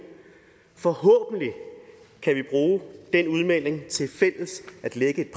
forhåbentlig kan vi bruge den udmelding til fælles at lægge